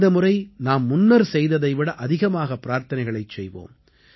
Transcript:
இந்த முறை நாம் முன்னர் செய்ததை விட அதிகமாக பிரார்த்தனைகளைச் செய்வோம்